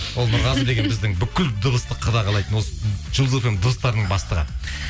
ол нұрғазы деген біздің бүкіл дыбысты қадағалайтын осы жұлдыз фм нің дыбыстарының бастығы